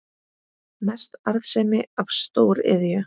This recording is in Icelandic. Mest arðsemi af stóriðju